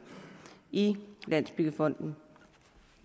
i landsbyggefonden